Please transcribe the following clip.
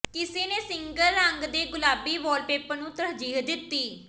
ਕਿਸੇ ਨੇ ਸਿੰਗਲ ਰੰਗ ਦੇ ਗੁਲਾਬੀ ਵਾਲਪੇਪਰ ਨੂੰ ਤਰਜੀਹ ਦਿੱਤੀ